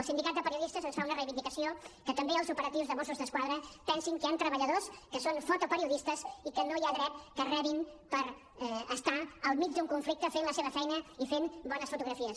el sindicat de periodistes ens fa una reivindicació que també els opera·tius de mossos d’esquadra pensin que hi han treballadors que són fotoperiodistes i que no hi ha dret que rebin per estar al mig d’un conflicte fent la seva feina i fent bo·nes fotografies